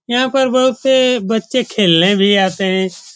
यहाँ पर बहुत से बच्चे खेलने भी आते है।